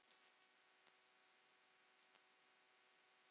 Það er alveg öruggt mál.